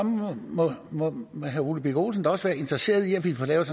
må må herre ole birk olesen da også være interesseret i at vi får lavet